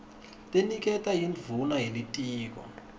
leniketwa yindvuna yelitiko